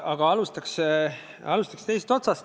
Jaa, aga alustaks teisest otsast.